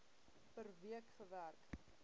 per week gewerk